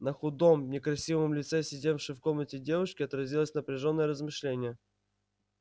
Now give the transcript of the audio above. на худом некрасивом лице сидевшей в комнате девушки отразилось напряжённое размышление